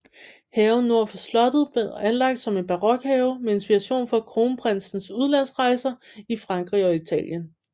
Haven nord for slottet blev anlagt som en barokhave med inspiration fra kronprinsens udlandsrejser i Frankrig og Italien